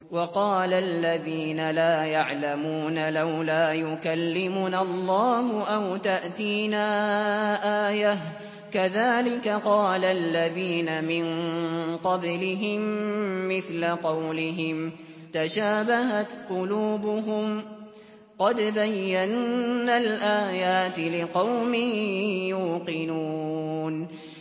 وَقَالَ الَّذِينَ لَا يَعْلَمُونَ لَوْلَا يُكَلِّمُنَا اللَّهُ أَوْ تَأْتِينَا آيَةٌ ۗ كَذَٰلِكَ قَالَ الَّذِينَ مِن قَبْلِهِم مِّثْلَ قَوْلِهِمْ ۘ تَشَابَهَتْ قُلُوبُهُمْ ۗ قَدْ بَيَّنَّا الْآيَاتِ لِقَوْمٍ يُوقِنُونَ